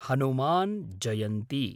Hanuman Jayanti